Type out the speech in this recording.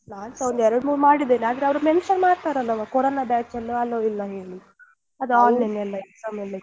ನಾನ್ಸ ಒಂದ್ ಎರಡು ಮೂರು ಮಾಡಿದ್ದೇನೆ ಆದ್ರೆ ಅವ್ರು mention ಮಾಡ್ತಾರೆ ಅಲ್ಲವಾ corona batch ಎಲ್ಲ allow ಇಲ್ಲ ಹೇಳಿ ಅದು online ಅಲ್ಲಿ ಎಲ್ಲ exam ಇತ್ತಲ್ಲ.